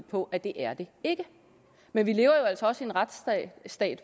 på at det er det ikke men vi lever jo altså også i en retsstat